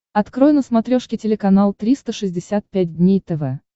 открой на смотрешке телеканал триста шестьдесят пять дней тв